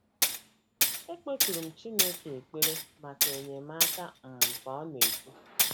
“ Ekpekuru m Chineke ekpere maka enyemaka,, ” um ka ọ na - ekwu.